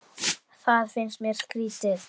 Það finnst mér skrýtið